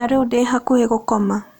Na rĩu ndĩ hakuhĩ gũkoma.